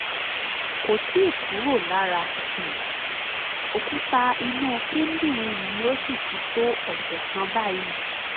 kò tíì kúrò lára um òkúta inú kíndìnrín mi ó sì ti tó ọ̀sẹ̀ kan báyìí